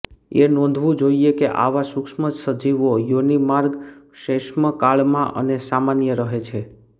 એ નોંધવું જોઇએ કે આવા સુક્ષ્મસજીવો યોનિમાર્ગ શ્વૈષ્મકળામાં અને સામાન્ય રહે છે